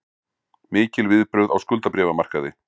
Mikil viðbrögð á skuldabréfamarkaði